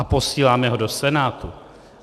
A posíláme ho do Senátu.